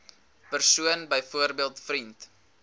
persoon byvoorbeeld vriend